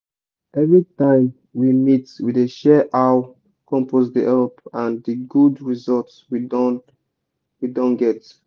every time we meet we dey share how compost dey help and di good results we don we don get.